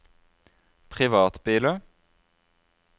privatbiler